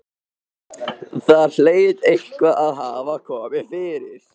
Það hlaut eitthvað að hafa komið fyrir.